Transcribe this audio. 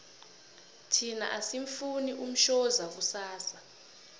thina asimufuni umshoza kusasa